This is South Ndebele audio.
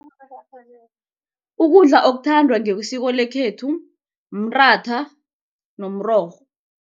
Ukudla okuthandwa ngokwesiko lekhethu mratha nomrorho.